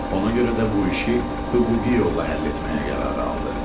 Ona görə də bu işi hüquqi yolla həll etməyə qərarı aldı.